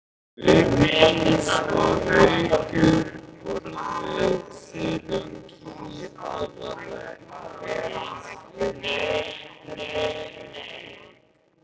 Vigdís og Haukur borðuðu silung í aðalrétt en Helgi og